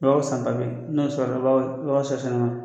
santa beyi n'o sɔrɔ